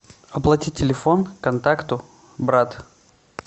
оплатить телефон контакту брат